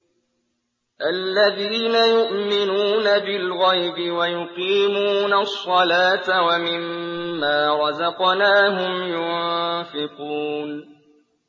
الَّذِينَ يُؤْمِنُونَ بِالْغَيْبِ وَيُقِيمُونَ الصَّلَاةَ وَمِمَّا رَزَقْنَاهُمْ يُنفِقُونَ